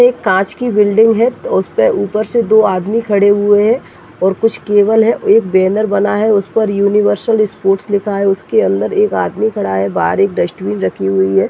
एक कांच की बिल्डिंग है उसपे ऊपर से दो आदमी खड़े हुए हैं और कुछ केबल है एक बैनर बना हुआ है उस पर यूनिवर्सल स्पोर्ट्स लिखा है उसके अंदर एक आदमी खड़ा है बाहर एक डस्टबिन रखी हुई है।